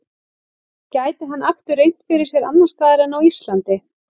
Gæti hann aftur reynt fyrir sér annars staðar en á Íslandi?